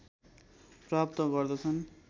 प्राप्त गर्दछन्